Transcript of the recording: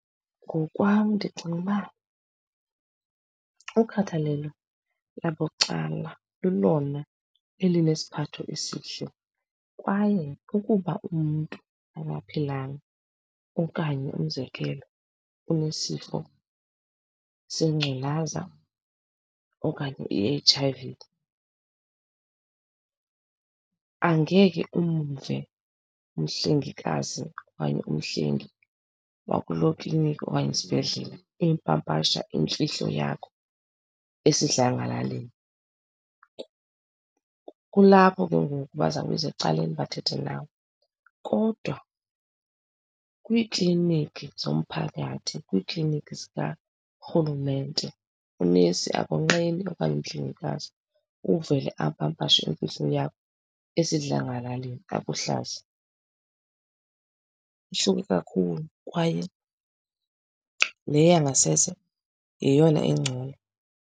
Ngokwam ndicinga uba ukhathalelo labucala lulona elinesiphathu esihle kwaye ukuba umntu akaphilanga okanye, umzekelo, unesifo sengculaza okanye i-H_I_V angeke umve umhlengikazi okanye umhlengi wakuloo klinikhi okanye isibhedlele eyipapasha imfihlo yakho esidlangalaleni. Kulapho ke ngoku baza kubiza ecaleni bathethe nawe, kodwa kwiikliniki zomphakathi, kwiikliniki zikarhulumente, unesi akonqeni okanye umhlengikazi uvele apapashe imfihlo yakho esidlangalaleni akuhlaze. Ihluke kakhulu kwaye le yangasese yeyona engcono.